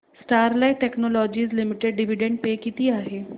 Sterlite technologies limited dividend pay किती आहे